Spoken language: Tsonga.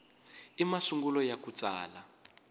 i masungulo ya ku tsala